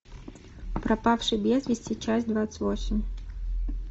пропавший без вести часть двадцать восемь